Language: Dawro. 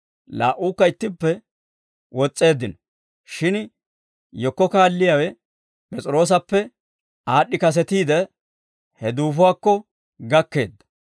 Laa"uukka ittippe wos's'eeddino; shin yekko kaalliyaawe P'es'iroosappe aad'd'i kasetiide, he duufuwaakko gakkeedda.